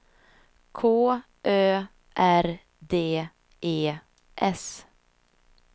K Ö R D E S